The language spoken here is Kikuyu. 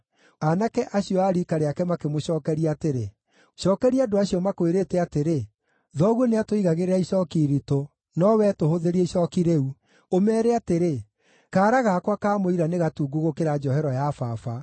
Aanake acio a riika rĩake makĩmũcookeria atĩrĩ, “Cookeria andũ acio makwĩrĩte atĩrĩ, ‘Thoguo nĩatũigagĩrĩra icooki iritũ, no wee tũhũthĩrie icooki rĩu,’ ũmeere atĩrĩ, ‘Kaara gakwa ka mũira nĩ gatungu gũkĩra njohero ya baba.